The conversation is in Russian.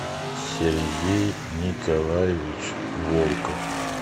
сергей николаевич волков